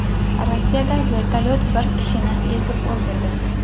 Rossiyada vertolyot bir kishini ezib o‘ldirdi.